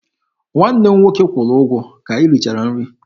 Nwanne m nwoke kwụrụ ụgwọ ka anyị richara nri.